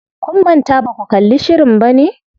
Kun manta baku kalli shirin bane?